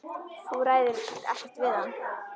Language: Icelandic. Þú ræður ekkert við hann.